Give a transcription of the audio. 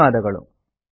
ಧನ್ಯವಾದಗಳು